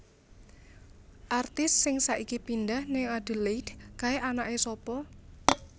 Artis sing saiki pindah ning Adelaide kae anake sopo?